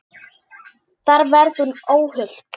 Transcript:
Þar verði hún óhult.